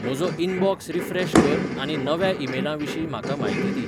म्हजो inbox refresh कर आनी नव्या ईमेलां विशीं म्हाका म्हायती दी